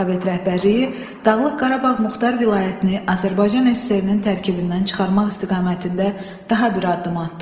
Sovet rəhbərliyi Dağlıq Qarabağ Muxtar Vilayətini Azərbaycan SSR-nin tərkibindən çıxarmaq istiqamətində daha bir addım atdı.